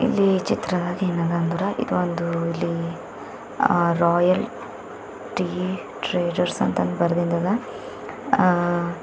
ಇಲ್ಲಿ ಈ ಚಿತ್ರದಾಗ್ ಏನದ ಅಂದ್ರ ಇದೊಂದು ಇಲ್ಲಿ ರಾಯಲ್ ಟೀ ಟ್ರೇಡರ್ಸ್ ಅಂತ ಬರೆದಿಂದ ಅದ ಆ.